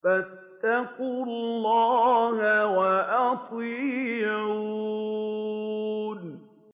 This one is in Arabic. فَاتَّقُوا اللَّهَ وَأَطِيعُونِ